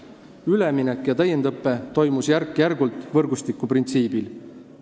Üleminek ja täiendusõpe toimusid järk-järgult, võrgustikuprintsiibil.